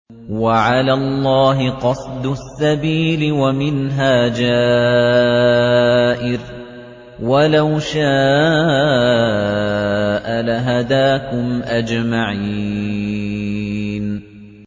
وَعَلَى اللَّهِ قَصْدُ السَّبِيلِ وَمِنْهَا جَائِرٌ ۚ وَلَوْ شَاءَ لَهَدَاكُمْ أَجْمَعِينَ